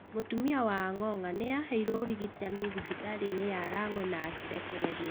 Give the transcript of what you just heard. Mũtumia wa Ong’ong’a nĩ aheirwo ũrigitani thĩbĩtarĩ-inĩ ya Rang'we na akĩrekererio.